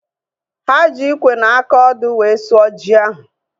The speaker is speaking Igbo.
Ha ji ikwe na aka ọdụ wee sụọ ji ahu